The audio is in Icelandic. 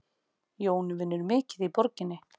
Jón vinnur mikið í borginni.